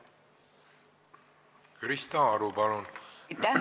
Krista Aru, palun!